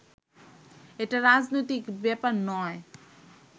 এটা রাজনৈতিক বেপার নয়